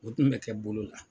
O tun bɛ kɛ bolo la.